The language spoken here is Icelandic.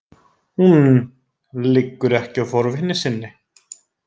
Hún liggur ekki á forvitni sinni.